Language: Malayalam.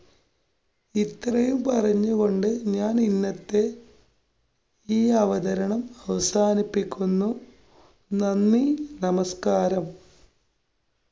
ഇത്രയും പറഞ്ഞുകൊണ്ട് ഞാന്‍ ഇന്നത്തെ ഈ അവതരണം അവസാനിപ്പിക്കുന്നു. നന്ദി. നമസ്കാരം.